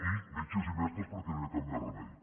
i metges i mestres perquè no hi ha cap més remei